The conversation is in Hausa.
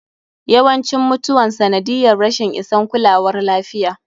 Yawancin mutuwan sanadiyyar rashin isan kulawar lafiya.